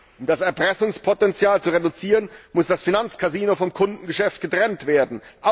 Um das Erpressungspotenzial zu reduzieren, muss das Finanzcasino vom Kundengeschäft getrennt werden